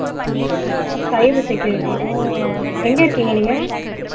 cyber security ஓ எங்க இருக்கீங்க நீங்க